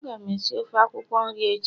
Agam esi ofe akwukwo nri echi